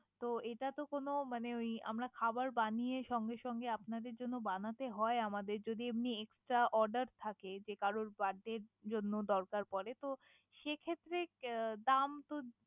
তো এটাতো কোন মানে আমরা খাবার বানিয়ে সঙ্গে সঙ্গে আপনাদের জন্য বানাতে হয়। যদি এমনি Extra order থাকে যে কারে Birthday এর জন্য দরকার পরে। তো সেক্ষেত্রে দাম তো।